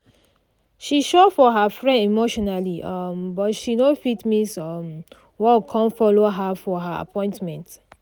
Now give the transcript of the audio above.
she show for her friend emotionally um but she no fit miss um work con follow her for her appointment